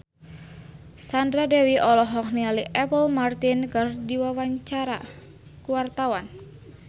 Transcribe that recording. Sandra Dewi olohok ningali Apple Martin keur diwawancara